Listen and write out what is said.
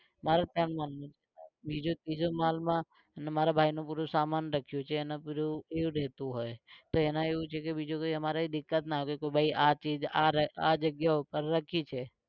મારો તો એમ બીજું ત્રીજું માળમાં મારા ભાઇનું પૂરું સામાન રાખ્યું છે ને પેલું એવું રહેતું હોય તો એના એવું છે કે બીજું કોઈ અમારે દિક્કત ન આવે કે ભાઈ આ ચીજ આ આ જગ્યા ઉપર રખી છે